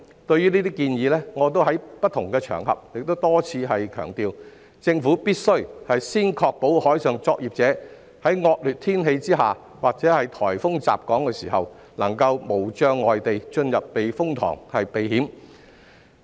對於這些建議，我已在不同場合多次強調，政府必須先確保海上作業者在惡劣天氣下或颱風襲港時能在無障礙下進入避風塘避險。